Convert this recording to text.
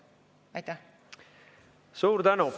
Suur tänu!